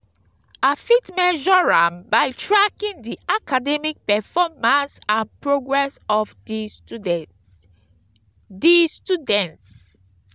i fit measure am by tracking di academic performance and progress of di students. di students.